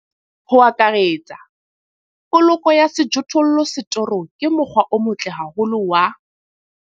Ho akaretsa, poloko ya sejothollo setorong ke mokgwa o motle haholo wa.